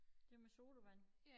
Det med sodavand